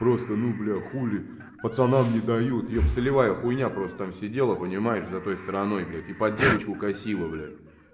просто ну бля хули пацанам не дают еп солевая хуйня просто там сидела понимаешь за той стороной блядь и под девочку косила блять